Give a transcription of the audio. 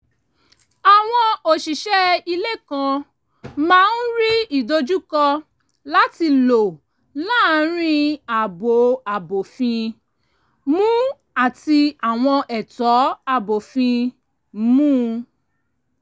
àwọn òṣìṣẹ́ ilé kan máa ń rí ìdojúkọ láti lọ láàrin ààbò abófin-mu àti àwọn ẹ̀tọ́ abófin-mu